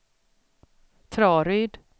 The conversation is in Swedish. Traryd